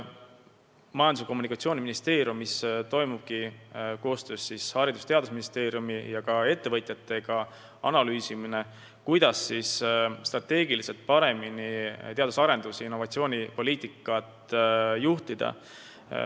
Majandus- ja Kommunikatsiooniministeeriumis analüüsitaksegi koostöös Haridus- ja Teadusministeeriumi ning ka ettevõtjatega, kuidas strateegiliselt paremini teadus-arendustööd ja innovatsioonipoliitikat juhtida.